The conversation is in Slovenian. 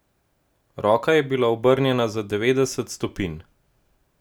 Roka je bila obrnjena za devetdeset stopinj.